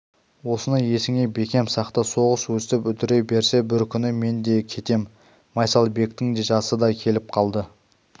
осыны есіңе бекем сақта соғыс өстіп үдере берсе бір күні мен де кетем майсалбектің жасы да келіп қалды